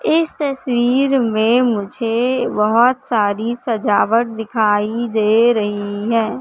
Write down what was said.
इस तस्वीर में मुझे बहोत सारी सजावट दिखाई दे रही है।